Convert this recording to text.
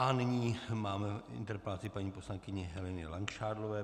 A nyní máme interpelaci paní poslankyně Heleny Langšádlové.